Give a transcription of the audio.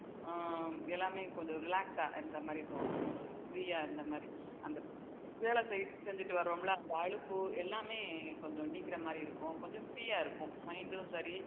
அஹ் எல்லாமே கொஞ்சம் relax ஆ இருந்த மாதிரி தோணும் ஒரு free ஆ இருந்த மாதிரி அந்த வேலை செய்து~ செஞ்சிட்டு வர்றோம்ல அலுப்பு எல்லாமே கொஞ்சம் நீங்குற மாதிரி இருக்கும் கொஞ்சம் free ஆ இருக்கும் mind உம் சரி